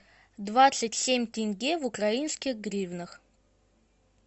двадцать семь тенге в украинских гривнах